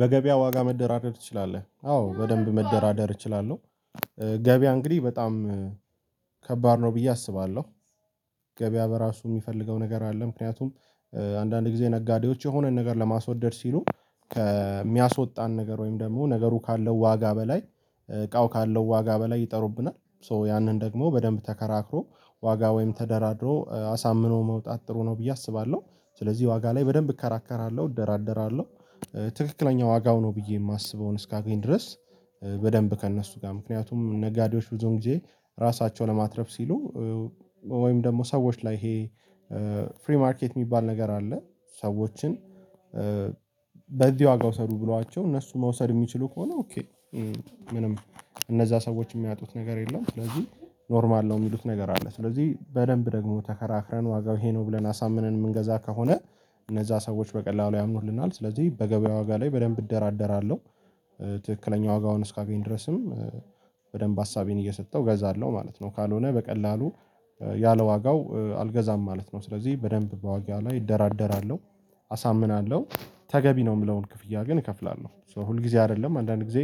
በገበያ ዋጋ መደራደር ትችላለህ አዎ በደንብ መደራደር እችላለሁ። ገበያ እንግዲህ በጣም ከባድ ነው ብዬ አስባለሁ። ገበያ በራሱ የሚፈልገው ነገር አለ። ምክንያቱም አንዳንድ ጊዜ ነጋዴዎች የሆነን ነገር ለማስወደድ ሲሉ ከሚያስወጣን ነገር ወይም ደግሞ ነገሩ ካለው ዋጋ በላይ እቃው ካለው ዋጋ በላይ ይጠሩብናል ሶ ያንን ደግሞ በደንብ ተከራክሮ ዋጋ ወይም ተደራድሮ አሳምኖ መውጣት ጥሩ ነው ብዬ አስባለሁ። ስለዚህ ዋጋ ላይ በደንብ እከራከራለሁ እደራደራለሁ። ትክክለኛ ዋጋው ነው ብዬ የማስበውን እስካገኝ ድረስ በደንብ ከእነሱ ጋር ምክንያቱም ነጋዴዎች ብዙን ጊዜ ራሳቸውን ለማትረፍ ሲሉ ወይም ደግሞ ሰዎች ላይ ይሄ ፍሪ ማርኬት የሚባል ነገር አለ። ሰዎችን በዚህ ዋጋ ውሰዱ ብሏቸው እነሱ መውሰድ የሚችሉ ከሆነ ኦኬ ምንም እነዚያ ሰዎች የሚያጡት ነገር የለም። ስለዚህ ኖርማል ነው የሚሉት ነገር አለ ስለዚህ በደንብ ደግሞ ተከራክረን ዋጋው ይሄ ነው ብለን አሳምነን የምንገዛ ከሆነ እነዚያ ሰዎች በቀላሉ ያምኑልናል ስለዚህ በገበያ ዋጋ ላይ በደንብ እደራደራለሁ። ትክክለኛ ዋጋውን እስካገኝ ድረስም በደንብ አሳቤን እየሰጠው እገዛለሁ ማለት ነው። ካልሆነ በቀላሉ ያለዋጋው አልገዛም ማለት ነው። ስለዚህ በደንብ በዋጋ ላይ እደራደራለሁ አሳምናለሁ ተገቢ ነው የምለውን ክፍያ ግን እከፍላለሁ ሶ ሁል ጊዜ አይደለም አንዳንድ ጊዜ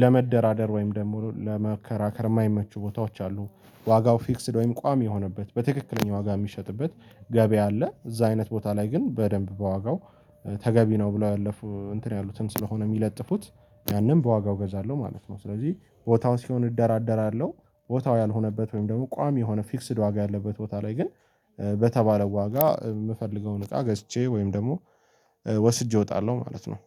ለመደራደር ወይም ደግሞ ለመከራከር የማይመቹ ቦታዎች አሉ። ዋጋው ፊክስድ ወይም ቋሚ የሆነበት በትክክለኛ ዋጋ የሚሸጥበት ገበያ አለ እዚያ አይነት ቦታ ላይ ግን በደንብ በዋጋው ተገቢ ነው ብሎ ያለፉ እንትን ያሉትን ስለሆነ የሚለጥፉት ያንን በዋጋው እገዛለሁ ማለት ነው። ስለዚህ ቦታው ሲሆን እደራደራለሁ። ቦታው ያልሆነበት ወይም ደግሞ ቋሚ የሆነ ፊክስድ ዋጋ ያለበት ቦታ ላይ ግን በተባለው ዋጋ የምፈልገውን እቃ ገዝቼ ወይም ደግሞ ወስጄ እወጣለሁ ማለት ነው